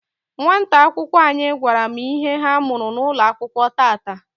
nwata akwụkwọ anyị gwara m ihe ha mụrụ N'ụlọakwụkwọ tata.